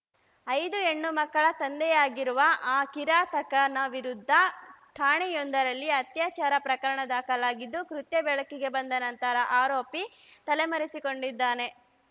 ಐದು ಹೆಣ್ಣು ಮಕ್ಕಳ ತಂದೆಯಾಗಿರುವ ಆ ಕಿರಾತಕನ ವಿರುದ್ಧ ಠಾಣೆಯೊಂದರಲ್ಲಿ ಅತ್ಯಾಚಾರ ಪ್ರಕರಣ ದಾಖಲಾಗಿದ್ದು ಕೃತ್ಯ ಬೆಳಕಿಗೆ ಬಂದ ನಂತರ ಆರೋಪಿ ತಲೆಮರೆಸಿಕೊಂಡಿದ್ದಾನೆ